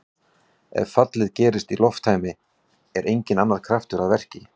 Ef fallið gerist í lofttæmi er enginn annar kraftur að verki.